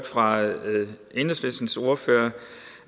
fra enhedslistens ordfører